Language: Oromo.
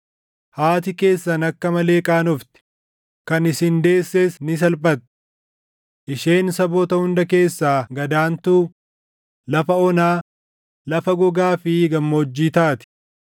haati keessan akka malee qaanofti; kan isin deesses ni salphatti. Isheen saboota hunda keessaa gad aantuu, lafa onaa, lafa gogaa fi gammoojjii taati.